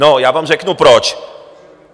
No, já vám řeknu proč.